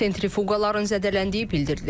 Sentrifuqaların zədələndiyi bildirilir.